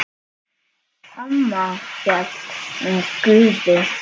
Amma hélt með Guði.